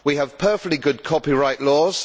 We have perfectly good copyright laws.